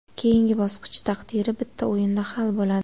Keyingi bosqich taqdiri bitta o‘yinda hal bo‘ladi.